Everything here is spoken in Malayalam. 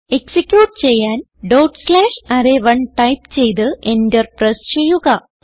എക്സിക്യൂട്ട് ചെയ്യാൻ ഡോട്ട് സ്ലാഷ് അറേ1 ടൈപ്പ് ചെയ്ത് എന്റർ പ്രസ് ചെയ്യുക